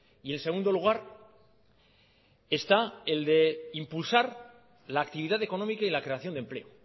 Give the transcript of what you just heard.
y en segundo lugar está el de impulsar la actividad económica y la creación de empleo